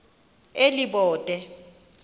elibode